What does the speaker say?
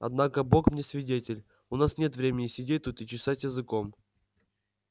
однако бог мне свидетель у нас нет времени сидеть тут и чесать языком